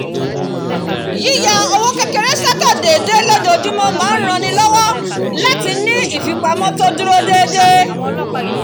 yíya owó kékeré sọ́tọ̀ déédéé lójoojúmọ̀ máa ń ran ni lọ́wọ́ láti ní ìfipamọ́ tó dúró déédéé